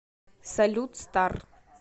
салют стар